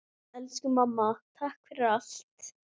Elsku mamma, takk fyrir allt.